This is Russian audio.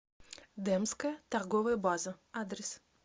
демская торговая база адрес